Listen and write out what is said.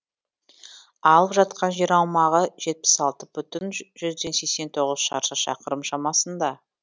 алып жатқан жер аумағы жетпіс алты бүтін жүзден сексен тоғыз шаршы шақырым шамасында